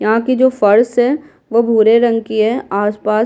यहाँ की जो फर्स है वो भूरे रंग की है आसपास --